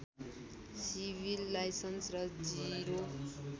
civil Lines र zero